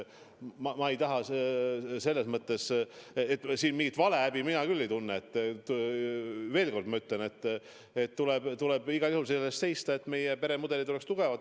Ma siin mingit valehäbi küll ei tunne, kui ma veel kord ütlen, et tuleb igal juhul selle eest seista, et meie peremudelid oleks tugevad.